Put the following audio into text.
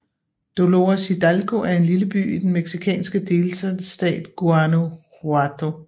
Dolores Hidalgo er en lille by i den mexicanske delstat Guanajuato